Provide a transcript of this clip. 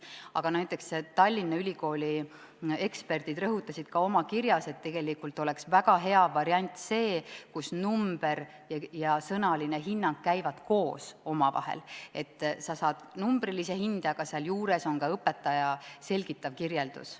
Aga näiteks Tallinna Ülikooli eksperdid rõhutasid oma kirjas, et oleks väga hea variant see, kui number ja sõnaline hinnang käiksid koos, et sa saad numbrilise hinde, aga seal juures on ka õpetaja selgitav kirjeldus.